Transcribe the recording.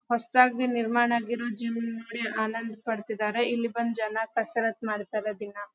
ಹೊಸತ್ತಾಗಿ ನಿರ್ಮಾಣ ಆಗಿರುವ ಜಿಮ್ ನೋಡಿ ಆನಂದ ಪಡತ್ತಿದ್ದರೆ ಇಲ್ಲಿ ಬಂದ ಜನ ಕಸರತ್ತ ಮಾಡತ್ತರೆ ದಿನ.